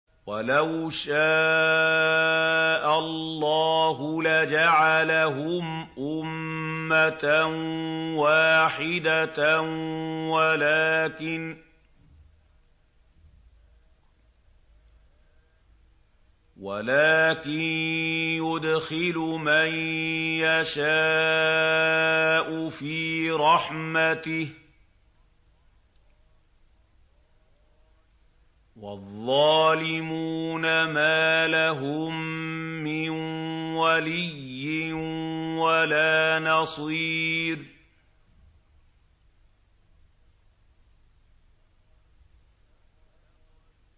وَلَوْ شَاءَ اللَّهُ لَجَعَلَهُمْ أُمَّةً وَاحِدَةً وَلَٰكِن يُدْخِلُ مَن يَشَاءُ فِي رَحْمَتِهِ ۚ وَالظَّالِمُونَ مَا لَهُم مِّن وَلِيٍّ وَلَا نَصِيرٍ